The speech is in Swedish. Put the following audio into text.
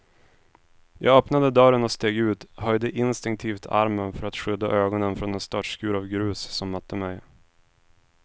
Jag öppnade dörren och steg ut, höjde instinktivt armen för att skydda ögonen från den störtskur av grus som mötte mig.